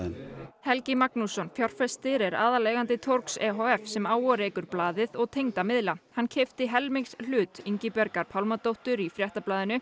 Helgi Magnússon fjárfestir er aðaleigandi torgs e h f sem á og rekur blaðið og tengda miðla hann keypti helmingshlut Ingibjargar Pálmadóttur í Fréttablaðinu